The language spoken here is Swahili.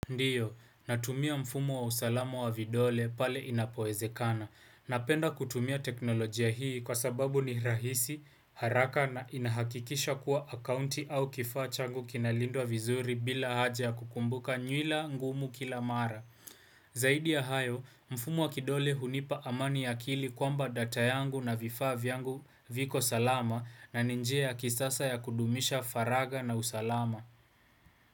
Ndiyo, natumia mfumo wa usalamu wa vidole pale inapoezekana. Napenda kutumia teknolojia hii kwa sababu ni rahisi, haraka na inahakikisha kuwa akaunti au kifaa changu kinalindwa vizuri bila haja kukumbuka nywila ngumu kila mara. Zaidi ya hayo, mfumo wa kidole hunipa amani ya kili kwamba data yangu na vifaa vyangu viko salama na ni njia ya kisasa ya kudumisha faraga na usalama.